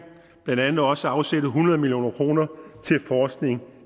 blandt andet også afsætte hundrede million kroner til forskning